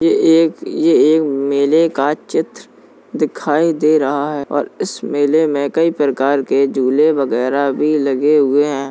ये एक ये एक मेले का चित्र दिखाई दे रहा है और इस मेले में कई प्रकार के झूले वगैरह भी लगे हुए हैं।